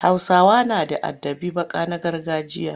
Hausawa na da adabin baka na gargajiya.